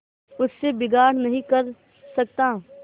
उससे बिगाड़ नहीं कर सकता